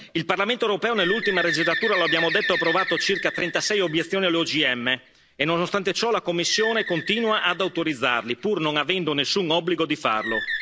Il Parlamento europeo nell'ultima legislatura lo abbiamo detto ha approvato circa 36 obiezioni agli OGM e nonostante ciò la Commissione continua ad autorizzarli, pur non avendo nessun obbligo di farlo.